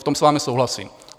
V tom s vámi souhlasím.